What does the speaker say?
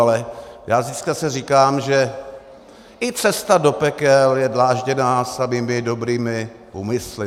Ale já si zase říkám, že i cesta do pekel je dlážděná samými dobrými úmysly.